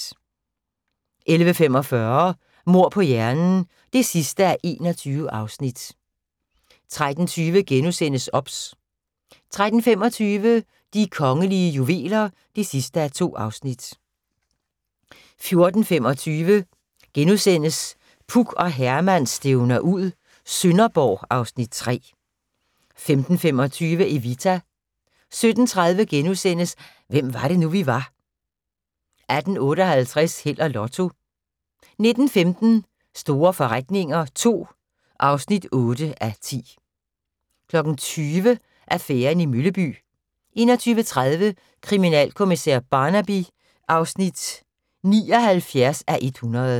11:45: Mord på hjernen (21:21) 13:20: OBS * 13:25: De kongelige juveler (2:2) 14:25: Puk og Herman stævner ud - Sønderborg (Afs. 3)* 15:25: Evita 17:30: Hvem var det nu, vi var * 18:58: Held og Lotto 19:15: Store forretninger II (8:10) 20:00: Affæren i Mølleby 21:30: Kriminalkommissær Barnaby (79:100)